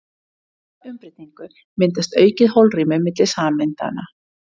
Við slíka umbreytingu myndast aukið holrými milli sameindanna.